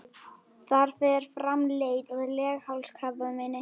Þar fer fram leit að leghálskrabbameini.